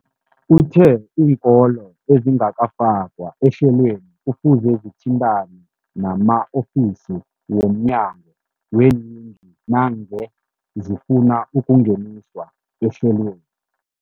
Uthe iinkolo ezingakafakwa ehlelweneli kufuze zithintane nama-ofisi wo mnyango weeyingi nangange zifuna ukungeniswa ehlelweni.